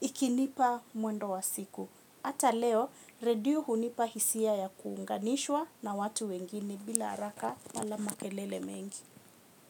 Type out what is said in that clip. ikinipa mwendo wa siku. Hata leo, redio hunipa hisia ya kuunganishwa na watu wengine bila haraka wala makelele mengi.